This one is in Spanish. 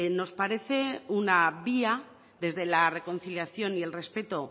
nos parece una vía desde la reconciliación y el respeto